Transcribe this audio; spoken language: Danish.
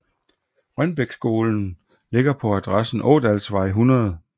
Rønbækskolen ligger på adressen Ådalsvej 100